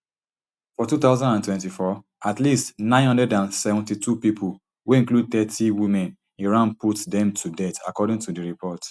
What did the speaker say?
for two thousand and twenty-four at least nine hundred and seventy-two pipo wey include thirty women iran put dem to death according to di report